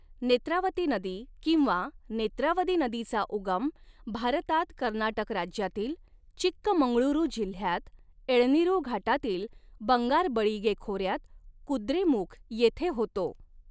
नेत्रावती नदी किंवा नेत्रावदी नदीचा उगम भारतात कर्नाटक राज्यातील चिक्कमंगळुरु जिल्ह्यात एळनीरु घाटातील बंगारबळीगे खोऱ्यात कुद्रेमुख येथे होतो.